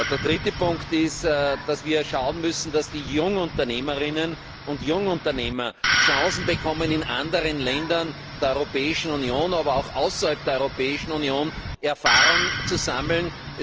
Der dritte Punkt ist, dass wir schauen müssen, dass die Jungunternehmerinnen und Jungunternehmer Chancen bekommen, in anderen Ländern der Europäischen Union, aber auch außerhalb der Europäischen Union Erfahrung zu sammeln.